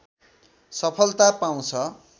सफलता पाउँछ